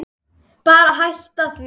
Bara hætta því.